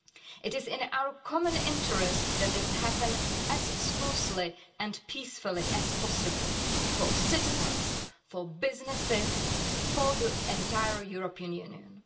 It is in our common interest that this happens as smoothly and peacefully as possible for citizens, for businesses, for the entire European Union.